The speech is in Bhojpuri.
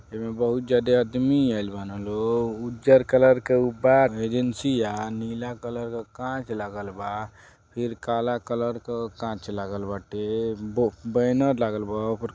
एमे बहुत जादे अदमी आइल बान लोग उज्जर कलर क ऊ बा एजेंसिया नीला कलर क कांच लागल बा फिर काला कलर क कांच लागल बाटे बो बैनर लागल बा ओपर --